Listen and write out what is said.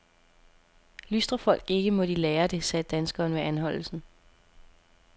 Lystrer folk ikke, må de lære det, sagde danskeren ved anholdelsen.